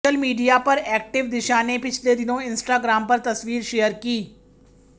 social media पर active Disha ने पिछले दिनों इंस्टाग्राम पर तस्वीर शेयर की